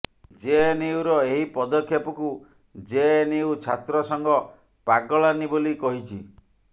ଜେଏନୟୁର ଏହି ପଦକ୍ଷେପକୁ ଜେଏନୟୁ ଛାତ୍ର ସଂଘ ପାଗଳାନୀ ବୋଲି କହିଛି